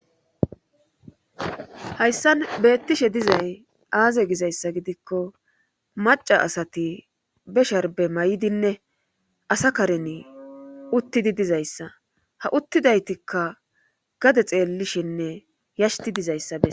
Hayssan beettishe dizay aaze gizayssa gidikko macca asati be sharbbe mayidinne asa kareni uttidi dizayssa ha uttidaytikka gade xeellishenne yashtti dizayssa bes